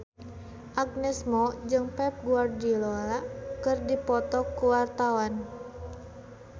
Agnes Mo jeung Pep Guardiola keur dipoto ku wartawan